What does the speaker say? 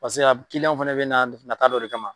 Paseke ab kilianw fɛnɛ bɛ na nata dɔ de kama.